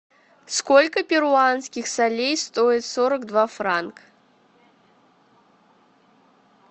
сколько перуанских солей стоит сорок два франк